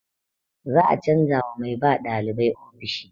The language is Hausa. Za a canza wa mai ba ɗalibai ofishi.